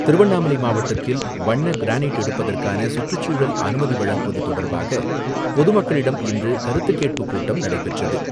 திருவண்ணாமலை மாவட்டத்தில் வண்ண கிரானைட் எடுப்பதற்கான சுற்றுச்சூழல் அனுமதி வழங்குவது தொடர்பாக பொது மக்களிடம் இன்று கருத்துக்கேட்பு கூட்டம் நடைபெற்றது.